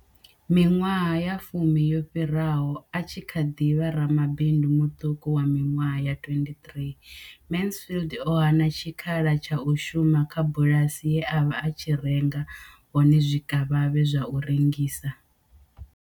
Miṅwaha ya fumi yo fhiraho, a tshi kha ḓi vha ramabindu muṱuku wa miṅwaha ya 23, Mansfield o hana tshikhala tsha u shuma kha bulasi ye a vha a tshi renga hone zwikavhavhe zwa u rengisa.